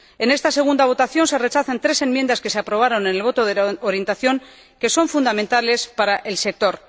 En esta segunda votación se rechazan tres enmiendas que se aprobaron en el voto de orientación que son fundamentales para el sector.